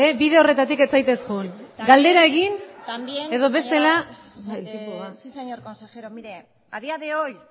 bide horretatik ez zaitez joan galdera egin edo bestela voy al asunto sí señor consejero a día de hoy